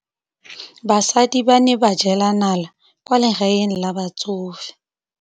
Basadi ba ne ba jela nala kwaa legaeng la batsofe.